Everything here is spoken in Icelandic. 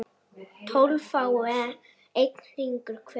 tólf fái einn hring hver